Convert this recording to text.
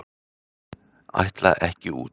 Ætla ekki út